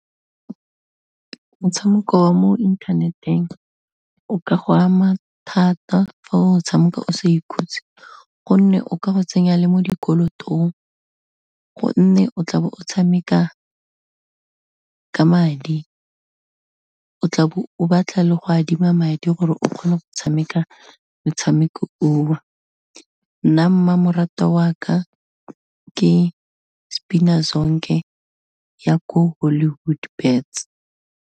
Motshameko wa mo internet-eng, o ka go ama thata fa o tshameka o sa ikhutse, gonne o ka go tsenya le mo dikolotong, gonne o tla be o tshameka ka madi, o tlabe o batla le go adima madi gore o kgone go tshameka metshameko o. Nna mmamoratwa wa ka, ke Spina Zonke, ya ko Hollywood Bets.